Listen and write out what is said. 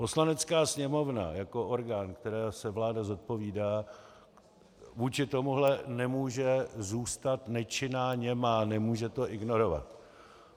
Poslanecká sněmovna jako orgán, kterému se vláda zodpovídá, vůči tomuto nemůže zůstat nečinná, němá, nemůže to ignorovat.